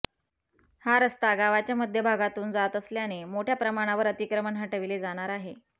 हा रस्ता गावाच्या मध्यभागातून जात असल्याने मोठ्या प्रमाणावर अतिक्रमण हटविले जाणार आहे